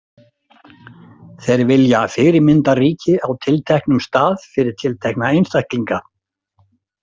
Þeir vilja fyrirmyndaríki á tilteknum stað fyrir tiltekna einstaklinga.